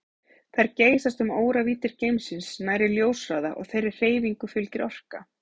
Þær geysast um óravíddir geimsins nærri ljóshraða og þeirri hreyfingu fylgir orka.